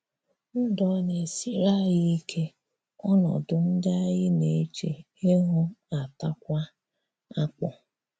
Ndụ̀ ọ̀ na-esirì anyị ike, ònọdụ̀ ndị̀ anyị na-eche ihù ataakwà akpụ?